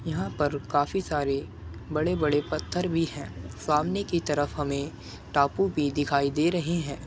यहाँ पर काफी सारे बड़े-बड़े पत्थर भी हैं। सामने की तरफ हमे टापू भी दिखाई दे रहे हैं।